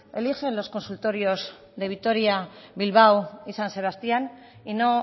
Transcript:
eligen los consultorios de vitoria bilbao y san sebastián y no